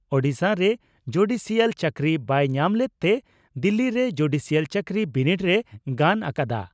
ᱳᱰᱤᱥᱟᱨᱮ judicial ᱪᱟᱹᱠᱨᱤ ᱵᱟᱭ ᱧᱟᱢ ᱞᱮᱫᱛᱮ ᱫᱤᱞᱤ ᱨᱮ ᱡᱩᱰᱤᱥᱤᱭᱟᱞ ᱪᱟᱹᱠᱨᱤ ᱵᱤᱱᱤᱰ ᱨᱮᱭ ᱜᱟᱱ ᱟᱠᱟᱫᱼᱟ ᱾